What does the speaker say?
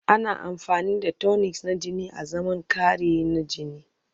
Ana amfani da tonics na jini azaman kari na jini